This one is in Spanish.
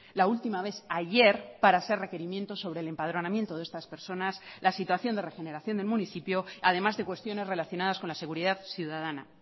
la última vez ayer para hacer requerimiento sobre el empadronamiento de estas personas la situación de regeneración del municipio además de cuestiones relacionadas con la seguridad ciudadana